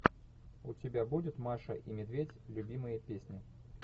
у тебя будет маша и медведь любимые песни